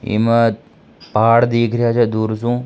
इमा पहाड़ दिखरिया से दूर सू।